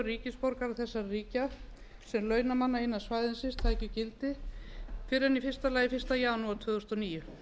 ríkisborgara þessara ríkja sem launamanna innan svæðisins taki gildi fyrr en fyrsta janúar tvö þúsund og níu